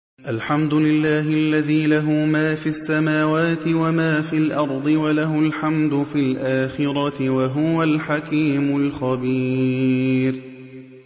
الْحَمْدُ لِلَّهِ الَّذِي لَهُ مَا فِي السَّمَاوَاتِ وَمَا فِي الْأَرْضِ وَلَهُ الْحَمْدُ فِي الْآخِرَةِ ۚ وَهُوَ الْحَكِيمُ الْخَبِيرُ